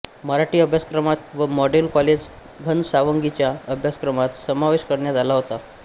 मराठी अभ्यासक्रमात व model college घनसावंगीच्या अभ्यासक्रमात समावेश करण्यात आला होता